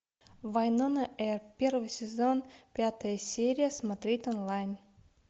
вайнона эрп первый сезон пятая серия смотреть онлайн